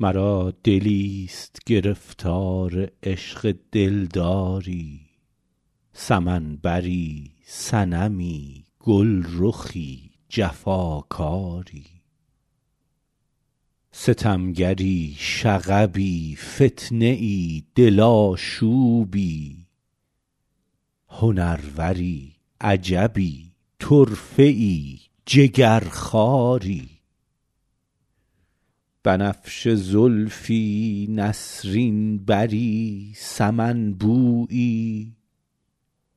مرا دلیست گرفتار عشق دلداری سمن بری صنمی گلرخی جفاکاری ستمگری شغبی فتنه ای دل آشوبی هنروری عجبی طرفه ای جگرخواری بنفشه زلفی نسرین بری سمن بویی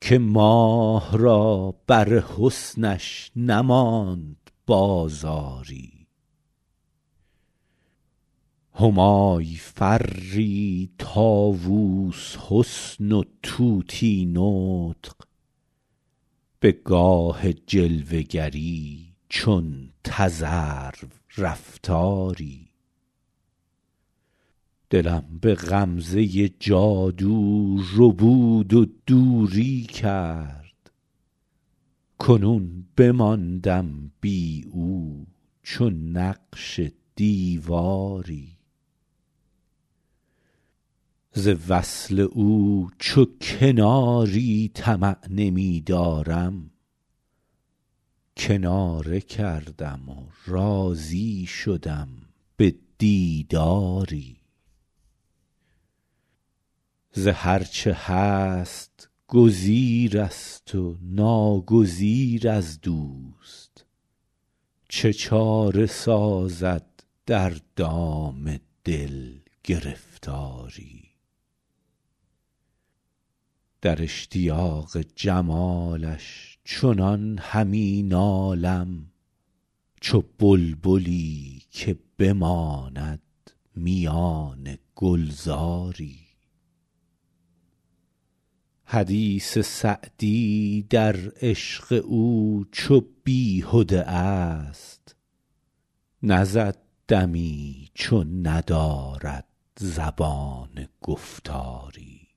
که ماه را بر حسنش نماند بازاری همای فری طاووس حسن و طوطی نطق به گاه جلوه گری چون تذرو رفتاری دلم به غمزه جادو ربود و دوری کرد کنون بماندم بی او چو نقش دیواری ز وصل او چو کناری طمع نمی دارم کناره کردم و راضی شدم به دیداری ز هر چه هست گزیر است و ناگزیر از دوست چه چاره سازد در دام دل گرفتاری در اشتیاق جمالش چنان همی نالم چو بلبلی که بماند میان گلزاری حدیث سعدی در عشق او چو بیهده ا ست نزد دمی چو ندارد زبان گفتاری